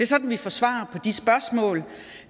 sådan vi får svar på de spørgsmål